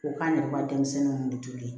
O k'an ne ka denmisɛnninw kun bɛ tobi